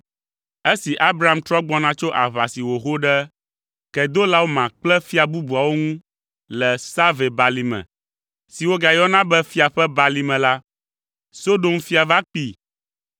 Esi Abram trɔ gbɔna tso aʋa si wòho ɖe Kedolaoma kple fia bubuawo ŋu le Save balime (si wogayɔna be Fia ƒe Balime) la, Sodom fia va kpee,